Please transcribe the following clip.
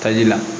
Taji la